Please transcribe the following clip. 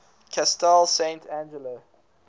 castel sant angelo